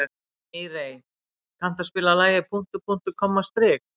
Mírey, kanntu að spila lagið „Punktur, punktur, komma, strik“?